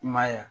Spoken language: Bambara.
I m'a yeya